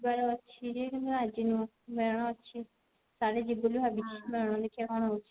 ଯିବାର ଅଛି ଯେ କିନ୍ତୁ ଆଜି ନୁହଁ ମେଳଣ ଅଛି କାଲି ଯିବି ବୋଲି ଭାବୁଛି ମେଳଣ ଦେଖିଆ କଣ ହଉଛି